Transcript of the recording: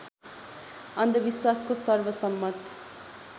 अन्धविश्वासको सर्वसम्मत